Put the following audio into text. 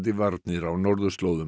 varnir á norðurslóðum